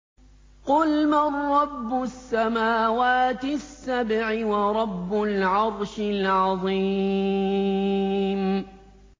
قُلْ مَن رَّبُّ السَّمَاوَاتِ السَّبْعِ وَرَبُّ الْعَرْشِ الْعَظِيمِ